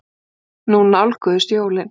Nú nálguðust jólin.